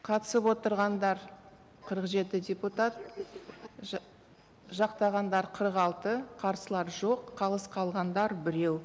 қатысып отырғандар қырық жеті депутат жақтағандар қырық алты қарсылар жоқ қалыс қалғандар біреу